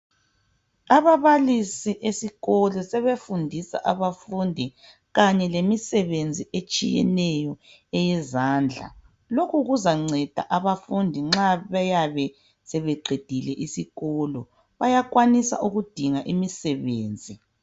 Ababalisi esikolo sebefundisa abafundi kanye lemisebenzi etshiyeneyo eyezandla. Lokhu kuzanceda abafundi, nxa beyabe sebeqedile isikolo. Bayakwanisa ukudinga imisebenzi.